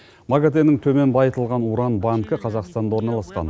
магатэ нің төмен байытылған уран банкі қазақстанда орналасқан